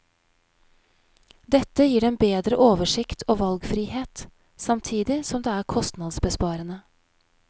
Dette gir dem bedre oversikt og valgfrihet, samtidig som det er kostnadsbesparende.